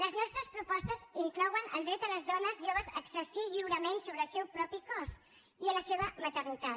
les nostres propostes inclouen el dret de les dones joves a exercir lliurement sobre el seu propi cos i la seva maternitat